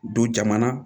Don jamana